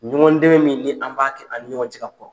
Ɲɔgɔndɛmɛn min ni an b'a kɛ an ni ɲɔgɔn cɛ ka kɔrɔ.